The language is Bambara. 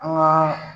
An ka